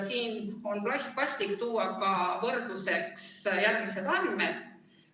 Siinkohal on vast paslik tuua võrdluseks järgmised andmed.